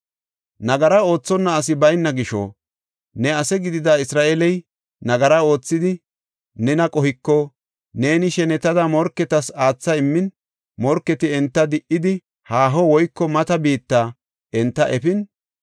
“Nagara oothonna asi bayna gisho ne ase gidida Isra7eeley nagara oothidi nena qohiko neeni shenetada morketas aatha immin morketi enta di77idi haaho woyko mata biitta enta efin,